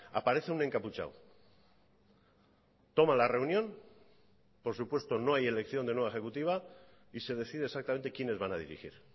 aparece un encapuchado toma la reunión por supuesto no hay elección de nueva ejecutiva y se decide exactamente quiénes van a dirigir